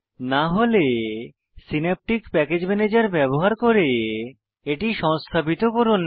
না হলে synaptic package manager ব্যবহার করে এটি সংস্থাপিত করুন